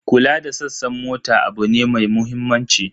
Kula da sassan mota abu ne mai mahimmanci.